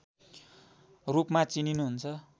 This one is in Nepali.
रूपमा चिनिनुहुन्छ